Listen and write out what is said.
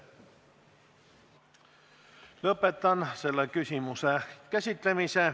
Lõpetan selle küsimuse käsitlemise.